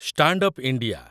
stand up India